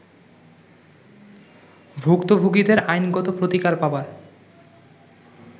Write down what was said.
ভুক্তভোগিদের আ্ইনগত প্রতিকার পাবার